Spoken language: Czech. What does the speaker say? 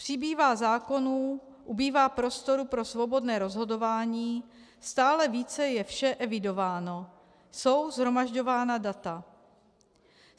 Přibývá zákonů, ubývá prostoru pro svobodné rozhodování, stále více je vše evidováno, jsou shromažďována data.